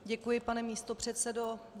Děkuji, pane místopředsedo.